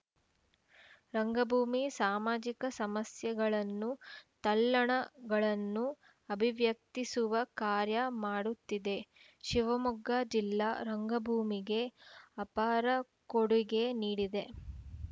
ರಂಗಭೂಮಿ ಸಾಮಾಜಿಕ ಸಮಸ್ಯೆಗಳನ್ನು ತಲ್ಲಣಗಳನ್ನು ಅಭಿವ್ಯಕ್ತಿಸುವ ಕಾರ್ಯ ಮಾಡುತ್ತಿದೆ ಶಿವಮೊಗ್ಗ ಜಿಲ್ಲಾ ರಂಗಭೂಮಿಗೆ ಅಪಾರ ಕೊಡುಗೆ ನೀಡಿದೆ